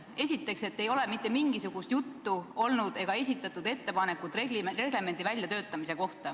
Esiteks, et ei ole olnud mitte mingisugust juttu reglemendi väljatöötamisest ega ole esitatud selle kohta ettepanekut.